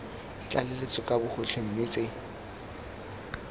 tlaleletso ka bogotlhe mme tse